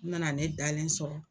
U nana ne dalen sɔrɔ.